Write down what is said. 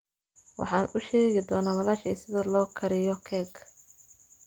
Waxaan u sheegi doonaa walaashay sida loo kariyo keeg.